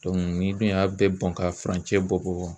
n'i dun y'a bɛɛ bɔn ka furancɛ bɔ bɔ